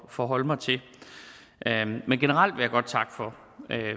forholde mig til men generelt vil jeg godt takke for